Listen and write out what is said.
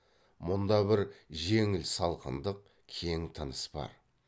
мұнда бір жеңіл салқындық кең тыныс бар